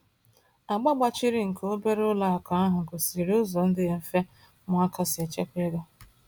Agba gbachiri nke obere ụlọ akụ ahụ gosiri ụzọ dị mfe ụmụaka si echekwa ego.